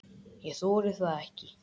Ég þori það ekki.